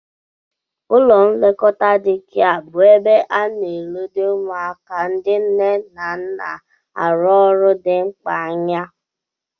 Ụlọ nlekọta dee kịa bụ ebe ana-eledo ụmụaka ndị nne ha na-arụ ọrụ dị mkpa anya